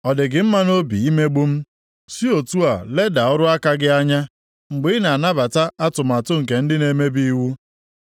Ọ dị gị mma nʼobi imegbu m, si otu a leda ọrụ aka gị anya, mgbe ị na-anabata atụmatụ nke ndị na-emebi iwu?